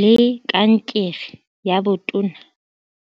le kankere ya botona.